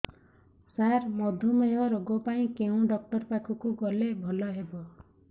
ସାର ମଧୁମେହ ରୋଗ ପାଇଁ କେଉଁ ଡକ୍ଟର ପାଖକୁ ଗଲେ ଭଲ ହେବ